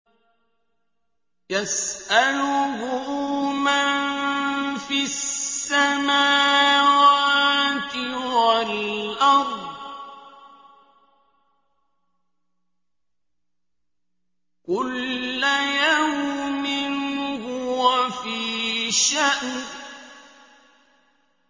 يَسْأَلُهُ مَن فِي السَّمَاوَاتِ وَالْأَرْضِ ۚ كُلَّ يَوْمٍ هُوَ فِي شَأْنٍ